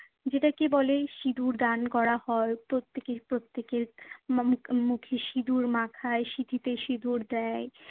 যেটাকে বলে সিঁদুর দান করা হয় প্রত্যেকে প্রতেক্যের মুখে সিঁদুর মাখায়, সিঁথিতে সিঁদুর দেয়।